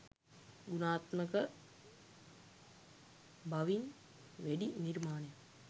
ගුණාත්මක බවින් වැඩි නිර්මාණයක්